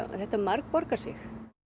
þetta margborgar sig